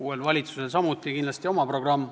Uuel valitsusel on samuti kindlasti oma programm.